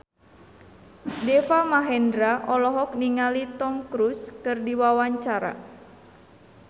Deva Mahendra olohok ningali Tom Cruise keur diwawancara